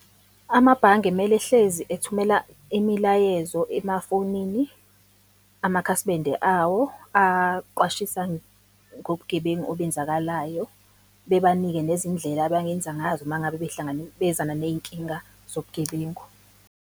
Amabhange mele ehlezi ethumela imilayezo emafonini amakhasimende awo, aqwashisane ngobugebengu obenzakalayo. Bebanike nezindlela abangenza ngazo uma ngabe behlangabezana ney'nkinga zobugebengu.